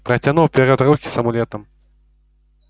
протянул вперёд руки с амулетом